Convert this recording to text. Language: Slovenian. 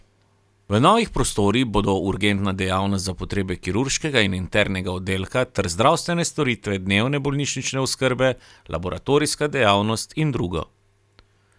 V novih prostorih bodo urgentna dejavnost za potrebe kirurškega in internega oddelka ter zdravstvene storitve dnevne bolnišnične oskrbe, laboratorijska dejavnost in drugo.